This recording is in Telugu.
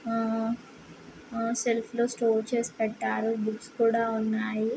ఆ -ఆ సెల్ఫ్ లో స్టోర్ చేసి పెట్టారు .బుక్స్ కూడా ఉన్నా--